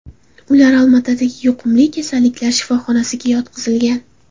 Ular Olmaotadagi yuqumli kasalliklar kasalxonasiga yotqizilgan.